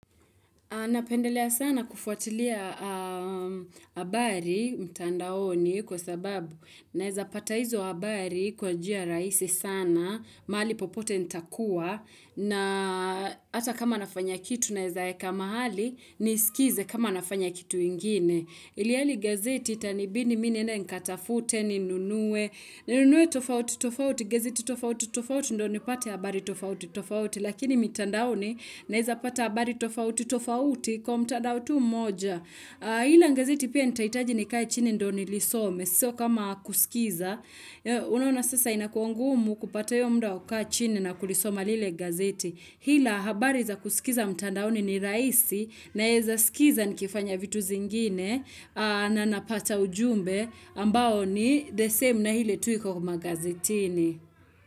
Napendelea sana kufuatilia habari mtandaoni kwa sababu naiza pata hizo habari kwa jia raisi sana, mahali popote ntakuwa na ata kama nafanya kitu naiza eka mahali, nisikize kama nafanya kitu ingine. Iliali gazeti itani bini mine nengata fute ni nunue, nunue tofauti tofauti, gazeti tofauti tofauti, ndo ni pate habari tofauti, tofauti, lakini mitandaoni naeza pata habari tofauti, tofauti kwa mtandaotu moja. Hila ngazeti pia nitaitaji ni kai chini ndo ni lisome, sio kama kusikiza. Unaona sasa inakuwa ngumu kupata uyomda wa kukaa chini na kulisoma lile gazeti. Hila habari za kusikiza mtandaoni ni raisi naeza sikiza ni kifanya vitu zingine na napata ujumbe ambao ni the same na hile tuiko kwa ma gazetini.